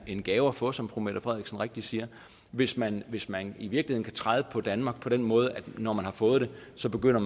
en gave at få som fru mette frederiksen rigtigt siger hvis man hvis man i virkeligheden kan træde på danmark på den måde at man når man har fået det så begynder